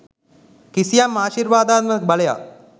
කිසියම් ආශිර්වාදාත්මක බලයක්